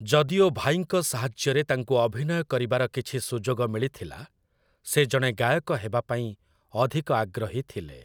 ଯଦିଓ ଭାଇଙ୍କ ସାହାଯ୍ୟରେ ତାଙ୍କୁ ଅଭିନୟ କରିବାର କିଛି ସୁଯୋଗ ମିଳିଥିଲା, ସେ ଜଣେ ଗାୟକ ହେବା ପାଇଁ ଅଧିକ ଆଗ୍ରହୀ ଥିଲେ ।